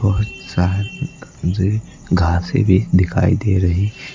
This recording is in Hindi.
घास भी दिखाई दे रही।